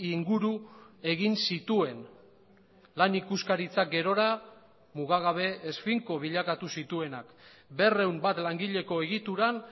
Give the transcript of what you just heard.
inguru egin zituen lan ikuskaritzak gerora mugagabe ez finko bilakatu zituenak berrehun bat langileko egituran